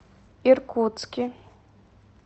иркутске